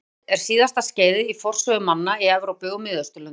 Járnöld er síðasta skeiðið í forsögu manna í Evrópu og Miðausturlöndum.